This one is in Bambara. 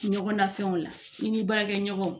Ɲɔgɔn na fɛnw la i ni baarakɛ ɲɔgɔnw